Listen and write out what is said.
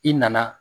I nana